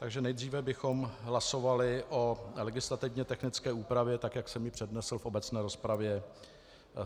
Takže nejdříve bychom hlasovali o legislativně technické úpravě, tak jak jsem ji přednesl v obecné rozpravě.